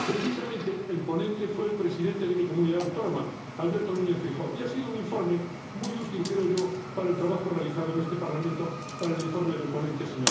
Precisamente, el ponente fue el presidente de mi comunidad autónoma, Alberto Núñez Feijóo, y ha sido un informe muy útil —creo yo— para el trabajo realizado en este Parlamento para el informe del ponente, el